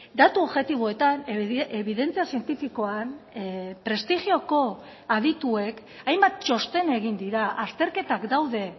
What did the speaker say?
datu objektiboetan ebidentzia zientifikoan prestigioko adituek hainbat txosten egin dira azterketak daude